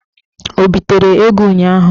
O bitere ego ụnyaahụ?